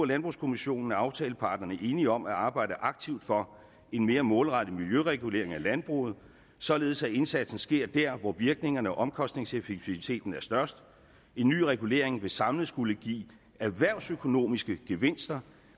landbrugskommissionen er aftaleparterne enige om at arbejde aktivt for en mere målrettet miljøregulering af landbruget således at indsatsen sker dér hvor virkningen og omkostningseffektiviteten er størst en ny regulering vil samlet skulle give erhvervsøkonomiske gevinster